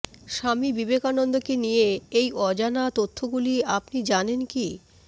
স্বামী বিবেকানন্দকে নিয়ে এই অজানা তথ্যগুলি আপনি জানেন কি